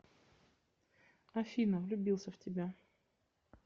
афина влюбился в тебя